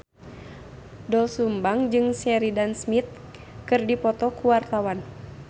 Doel Sumbang jeung Sheridan Smith keur dipoto ku wartawan